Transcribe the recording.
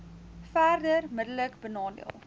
verder middelik benadeel